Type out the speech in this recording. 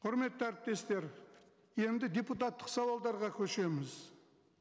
құрметті әріптестер енді депутаттық сауалдарға көшеміз